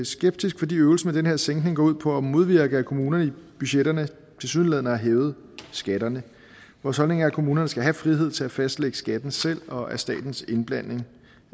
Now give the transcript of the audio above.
skeptiske fordi øvelsen med den her sænkning går ud på at modvirke at kommunerne i budgetterne tilsyneladende har hævet skatterne vores holdning er at kommunerne skal have frihed til at fastlægge skatten selv og at statens indblanding